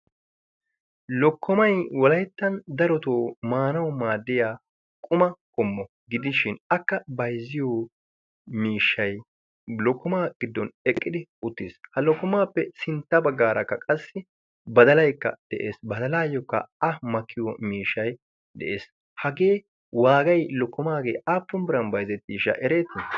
lokkomay walayttan darotoo maanawu maaddiya quma qommo gidishin akka bayzziyo miishshay lokkomaa giddon eqqidi uttiis. ha lokkomaappe sintta baggaarakka qassi badalaykka de'ees. badalaayyookka a makkiyo miishai de'ees. hagee waagay lokkomaagee aappun biran baize tiisha ereetii?